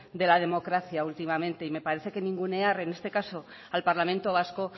de la democracia últimamente y me parece que ningunear en este caso al parlamento vasco